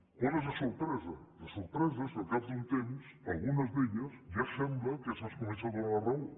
quina és la sorpresa la sorpresa és que al cap d’un temps en algunes d’elles ja sembla que se’ns comença a donar la raó